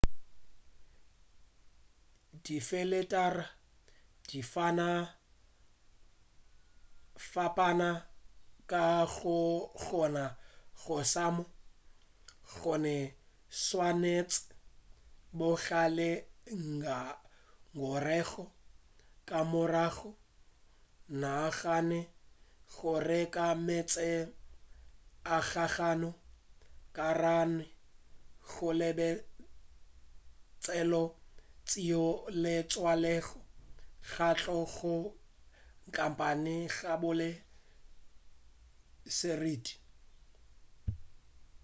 difeletara di fapana ka go kgona go šoma gomme o swanetše go ba le ngongorego ka morago o nagane go reka meetse a gago ka gare ga lebetlelo leo le tswaletšego go tšwa go khampane ya go ba le seriti